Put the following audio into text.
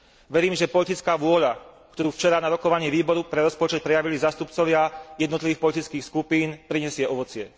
Verím, že politická vôľa, ktorú včera na rokovaní Výboru pre rozpočet prejavili zástupcovia jednotlivých politických skupín, prinesie ovocie.